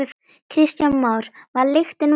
Kristján Már: Var lyktin vond?